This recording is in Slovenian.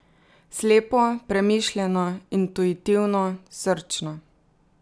Slepo, premišljeno, intuitivno, srčno.